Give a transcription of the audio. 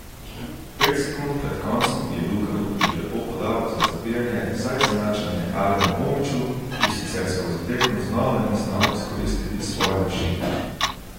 Pet sekund pred koncem je Luka Rupnik lepo podal za zabijanje za izenačenje Alenu Omiću, ki sicer skozi tekmo znova ni znal izkoristiti svoje višine.